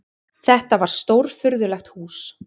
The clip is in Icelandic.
Þetta var stórfurðulegt hús.